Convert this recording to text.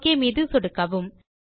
okay மீது சொடுக்கவும்